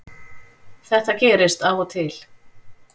Þetta gerist af og til